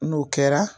N'o kɛra